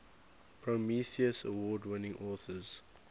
prometheus award winning authors